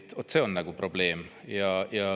Vaat see on probleem.